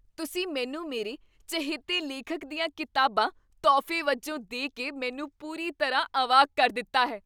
ਤੁਸੀਂ ਮੈਨੂੰ ਮੇਰੇ ਚਹੇਤੇ ਲੇਖਕ ਦੀਆਂ ਕਿਤਾਬਾਂ ਤੋਹਫ਼ੇ ਵਜੋਂ ਦੇ ਕੇ ਮੈਨੂੰ ਪੂਰੀ ਤਰ੍ਹਾਂ ਅਵਾਕ ਕਰ ਦਿੱਤਾ ਹੈ!